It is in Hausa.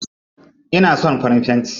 Ina son farin fenti.